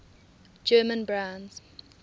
german brands